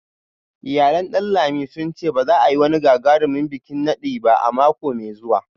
Iyalan Danlami sun ce ba za a yi wani gagarumin bikin nadi ba a mako mai zuwa